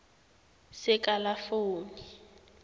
sekalafoni